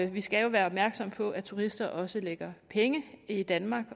vi skal jo være opmærksomme på at turister også lægger penge i danmark